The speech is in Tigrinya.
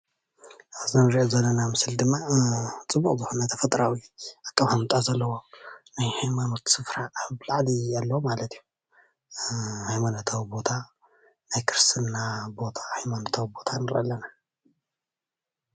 ኣብዚ እንሪኦ ዘለና ምስሊ ድማ ፅቡቅ ዝኮነ ተፈጥራዊ ኣቀማምጣ ዘለዎ ናይ ሃይማኖት ስፍራ ኣብላዕሊ ዘሎ ማለት እዩ፣ ሃይማኖታዊ ቦታ ናይ ክርስትና ሃይማኖታዊ ቦታ ንርኢ ኣለና ፡፡